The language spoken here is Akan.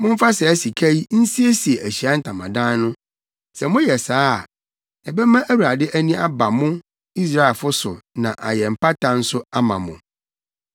Momfa saa sika yi nsiesie Ahyiae Ntamadan no. Sɛ moyɛ saa a, ɛbɛma Awurade ani aba mo, Israelfo, so na ayɛ mpata nso ama mo.”